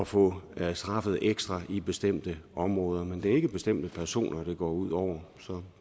få straffet ekstra i bestemte områder men det er ikke bestemte personer det går ud over så